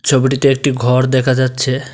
ছবিটিতে একটি ঘর দেখা যাচ্ছে।